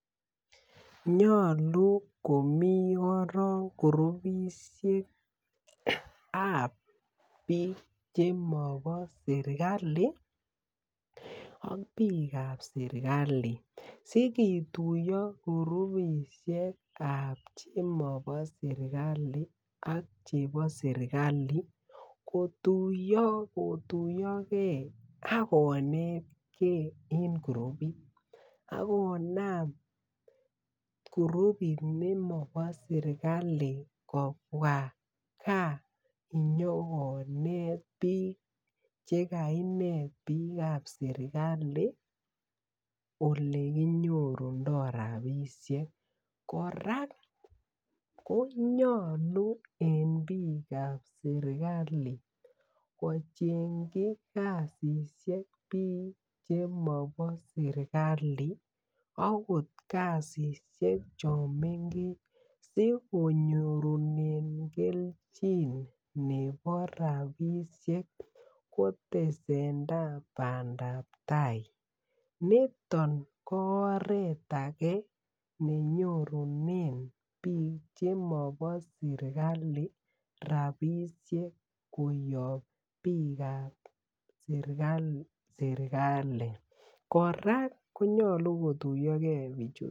Nyolu komii koron koroisiekab biik che mobo serikali ak biik kab serikali sikituyo rubisiek kab biik chemobo serikali ak biik ab serikali kotuyo kotuyo gee ak konetgee en kurubit ak konaam kurubit nekobo serikali kobwa gaa inyokonet biik che kainet biik che mobo serikali ole kinyorundoi rapisiek kora konyalu en biik ab serikali kochengchi biik alak kasisiek chemobo serikali agot kasisiek chon mengechen asikonyor kelchin nebo rapisiek kotesendai bandab tai niton ko oret agee ne nyorunen biik chemobo serikali rapisiek koyob biik ab serikali kora konyalu kotuyo gee bichuton